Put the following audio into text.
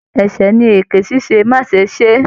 Ẹsẹ ní eke ṣiṣe, ma ṣe se!